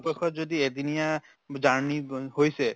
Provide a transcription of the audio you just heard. পক্ষত যদি এদিনিয়া journey বু হৈছে